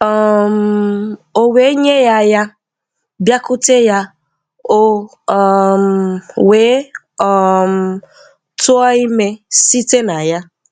um O we nye ya ya, biakute ya, o um we um tua ime site na ya.